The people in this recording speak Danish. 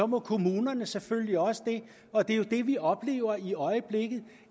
må kommunerne selvfølgelig også det og det vi oplever i øjeblikket